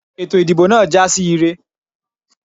Ètò ìdìbò náà jásí ire.